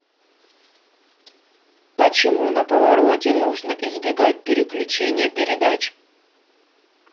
почему на повороте нужно избегать переключения передач